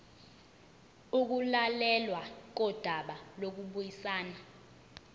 ukulalelwa kodaba lokubuyisana